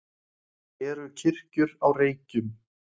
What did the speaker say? eru kirkjur á reykjum